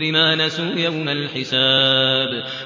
بِمَا نَسُوا يَوْمَ الْحِسَابِ